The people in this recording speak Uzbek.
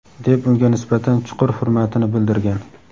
deb unga nisbatan chuqur hurmatini bildirgan.